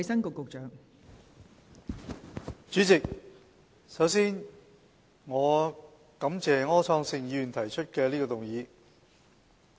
代理主席，首先，我感謝柯創盛議員提出這項議案。